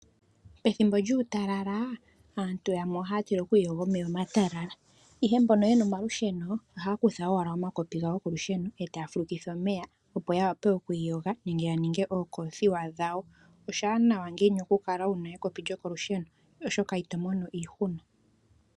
Pethimbo lyuutalala, aantu yamwe ohaa tila okwiiyoga omeya omatalala, ihe mbono ye na omalusheno, ohaa kutha owala omakopi gawo go kolusheno, e taa fulukitha omeya, opo ya wape okwiiyoga nenge ya ninge ookoothiwa dhawo. Oshaanawa ngiini oku kala wu na ekopi lyokolusheno, oshoka ito mono iihuna.